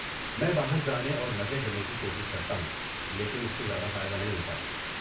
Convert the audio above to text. میں باہر جانے اور مزے کرنے کی کوشش کرتا ہوں لیکن اس سے زیادہ فائدہ نہیں ہوتا ہے۔